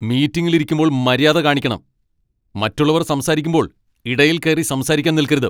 മീറ്റിംഗിൽ ഇരിക്കുമ്പോൾ മര്യാദ കാണിക്കണം, മറ്റുള്ളവർ സംസാരിക്കുമ്പോൾ ഇടയിൽ കയറി സംസാരിക്കാൻ നിൽക്കരുത്.